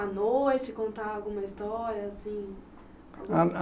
À noite, contar alguma história, assim?